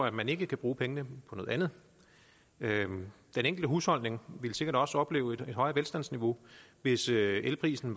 at man ikke kan bruge pengene på noget andet den enkelte husholdning ville sikkert også opleve et højere velstandsniveau hvis elprisen